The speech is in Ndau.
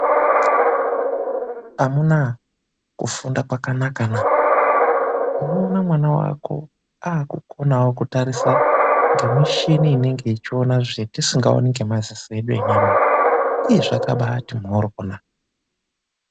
Amuna kufunda kwakanakana unoona mwana wako akukona kutarisa nemichini inenge ichiona zvatisingaoni ngemaziso edu enyama aya zvakabati mhoryo.